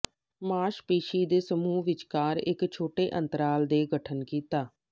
ਮਾਸਪੇਸ਼ੀ ਦੇ ਸਮੂਹ ਵਿਚਕਾਰ ਇੱਕ ਛੋਟੇ ਅੰਤਰਾਲ ਦੇ ਗਠਨ ਕੀਤਾ